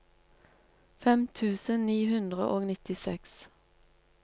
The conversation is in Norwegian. fem tusen ni hundre og nittiseks